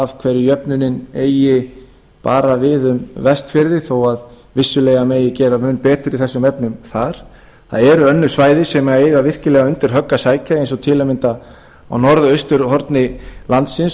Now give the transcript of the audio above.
af hverju jöfnunin eigi bara við um vestfirði þó vissulega megi gera mun betur í þessum efnum þar það eru önnur svæði sem eiga virkilega undir högg að sækja eins og til að mynda á norðausturhorni landsins